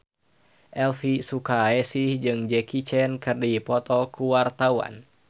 Elvy Sukaesih jeung Jackie Chan keur dipoto ku wartawan